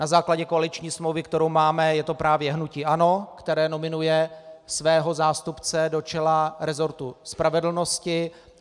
Na základě koaliční smlouvy, kterou máme, je to právě hnutí ANO, které nominuje svého zástupce do čela resortu spravedlnosti.